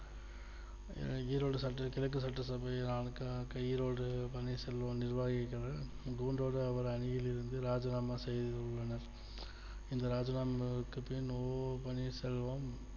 ஈரோடு சட்ட கிழக்கு சட்டசபை ஈரோடு பன்னீர்செல்வம் நிர்வாகிகள் கூண்டோடு அவர் அணியிலிருந்து ராஜினாமா செய்துள்ளனர் இந்த ராஜினாமாவுக்கு பின் ஓ பன்னீர்செல்வம்